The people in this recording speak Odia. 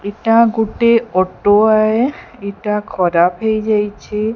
ଏଟା ଗୋଟେ ଅଟ ଓଏ ଏଟା ଖରାପ ହେଇ ଯାଇଚି ।